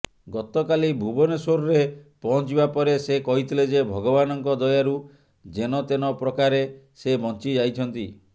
ଗତକାଲି ଭୁବନେଶ୍ୱରରେ ପହଞ୍ଚିବା ପରେ ସେ କହିଥିଲେ ଯେ ଭଗବାନଙ୍କ ଦୟାରୁ ଯେନତେନ ପ୍ରକାରେ ସେ ବଂଚି ଯାଇଛନ୍ତି